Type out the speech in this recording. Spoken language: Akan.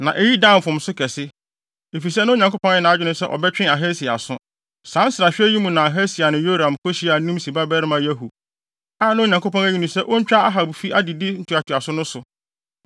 Na eyi dan mfomso kɛse, efisɛ na Onyankopɔn ayɛ nʼadwene sɛ ɔbɛtwe Ahasia aso. Saa nsrahwɛ yi mu na Ahasia ne Yoram kohyiaa Nimsi babarima Yehu, a na Onyankopɔn ayi no sɛ ontwa Ahab fi adedi ntoatoaso no so.